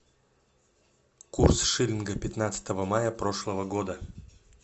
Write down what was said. курс шиллинга пятнадцатого мая прошлого года